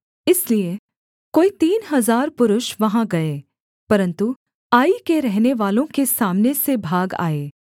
इसलिए कोई तीन हजार पुरुष वहाँ गए परन्तु आई के रहनेवालों के सामने से भाग आए